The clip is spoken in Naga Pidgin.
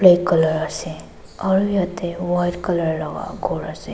color ase aro yete white color laga ghor ase.